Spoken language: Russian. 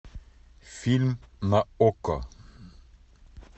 фильм на окко